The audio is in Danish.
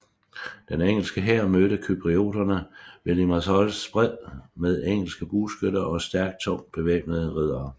Den engelske hær mødte cyprioterne ved Limassols bred med engelske bueskyttere og stærkt tungt bevæbnede riddere